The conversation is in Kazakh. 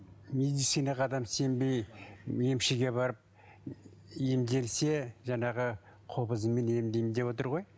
медицинаға адам сенбей емшіге барып емделсе жаңағы қобызымен емдеймін деп отыр ғой